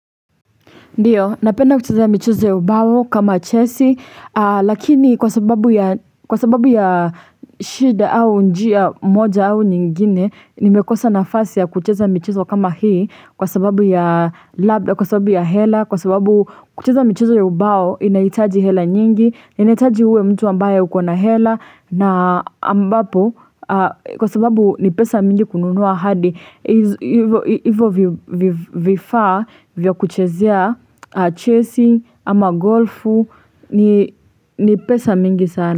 Ndiyo, napenda kucheza michezo ya ubao kama chesi, lakini kwa sababu ya shida au njia moja au nyingine, nimekosa nafasi ya kucheza ya michezo kama hii kwa sababu ya labda kwa sababu ya hela, kwa sababu kucheza ya michezo ya ubao inaitaji hela nyingi, inaitaji uwe mtu ambaye ukona hela na ambapo kwa sababu ni pesa mingi kununua hadi. Hivyo vifaa vyo kuchezea a chasing ama golfu ni pesa mingi sana.